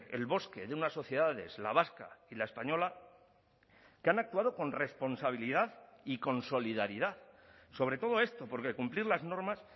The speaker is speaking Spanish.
el bosque de unas sociedades la vasca y la española que han actuado con responsabilidad y con solidaridad sobre todo esto porque cumplir las normas